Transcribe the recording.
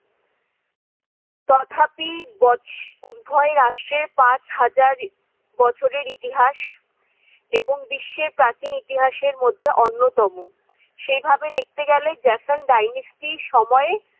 তথাপি বছ~ উভয় রাষ্ট্রের পাঁচ হাজার বছরের ইতিহাস এবং বিশ্বে প্রাচীন ইতিহাসের মধ্যে অন্যতম। সেইভাবে দেখতে গেলে জেসন ডাইনিস্টির সময়ে-